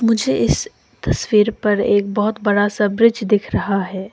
मुझे इस तस्वीर पर एक बहुत बड़ा सा ब्रिज दिख रहा है।